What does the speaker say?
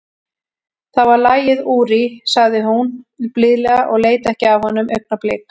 Það var lagið, Úri, sagði hún blíðlega og leit ekki af honum augnablik.